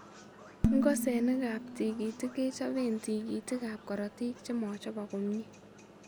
Ng'osenik ab tigitik kechobeen tigitik ab korotik chemachobok komyee